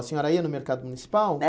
A senhora ia no Mercado Municipal? É